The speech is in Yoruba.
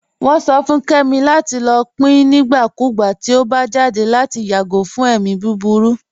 Wọn sọ fún Kẹmi lati lọ pín nígbàkúgbà tí ọ bá jáde lati yágò fún ẹ̀mi búburú.